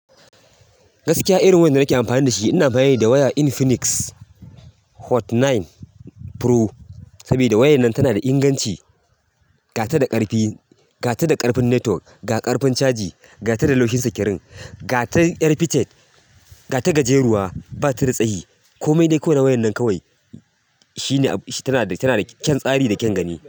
Gaskiya irin wayar da nake amfani da shi ina amfani da waya Infinix Hot tara Pro, saboda wayar nan tana da inganci, ga ta da ƙarfi, ga ta da ƙarfin network, ga ƙarfin caji, ga ta da laushin sikirin, ga ta ƴar pitet, ga ta gajeruwa ba ta da tsayi. Komai dai ko na wayar nan kawai, shine, tana da, tana da kyan tsari da kyan gani.